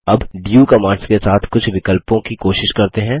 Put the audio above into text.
अब do commands के साथ कुछ विकल्पों की कोशिश करते हैं